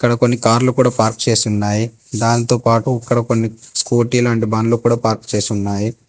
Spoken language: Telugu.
అక్కడ కొన్ని కార్లు కూడా చేసి ఉన్నాయి. దానితో పాటు ఇక్కడ కొన్ని స్కూటీ లాంటి బండ్లు పార్క్ చేసి ఉన్నాయి.